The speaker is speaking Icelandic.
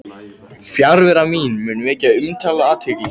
Fjarvera mín mundi vekja umtal og athygli.